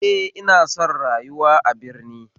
Eh ina son rayuwa a birni